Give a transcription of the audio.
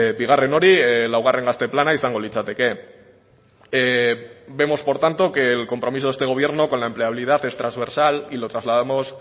bigarren hori laugarren gazte plana izango litzateke vemos por tanto que el compromiso de este gobierno con la empleabilidad es trasversal y lo trasladamos